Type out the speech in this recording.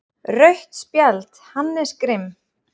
Rautt spjald: Hannes Grimm.